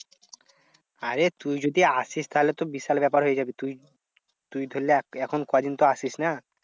আরে তুই যদি আসিস তাহলে তো বিশাল ব্যাপার হয়ে যাবে। তুই তুই তাহলে এখন কয় দিন তো আসিস না।